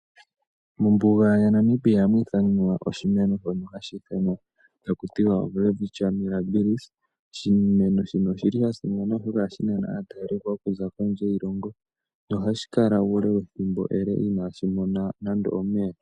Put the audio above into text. Mombuga yaNamibia ohamu adhikwa oshimeno shono haku tiwa oWelwitchia Mirabis. Oshimeno shino oshili shasimana oshoka ohashi nana aatalelipo okuza kondje yiilongo, nohashi kala uule wethimbo ele inaashi mona nando omeya.